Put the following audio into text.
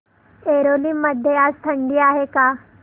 ऐरोली मध्ये आज थंडी आहे का